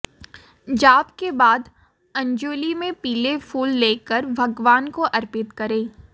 जाप के बाद अंजुलि में पीले फूल लेकर भगवान को अर्पित करें